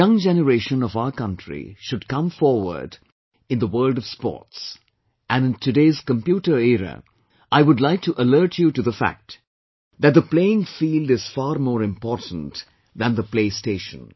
The young generation of our country should come forward in the world of sports and in today's computer era I would like to alert you to the fact that the playing field is far more important than the play station